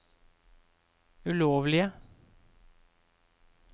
ulovlige